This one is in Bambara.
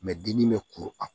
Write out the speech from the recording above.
dimi bɛ kuru kan